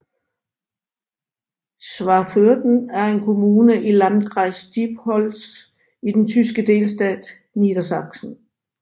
Schwaförden er en kommune i i Landkreis Diepholz i den tyske delstat Niedersachsen